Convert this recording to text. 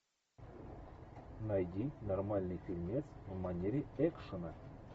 найди нормальный фильмец в манере экшена